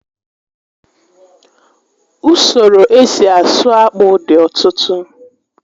Usoro esi asụ akpụ dị ọtụtụ